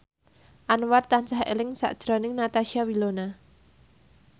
Anwar tansah eling sakjroning Natasha Wilona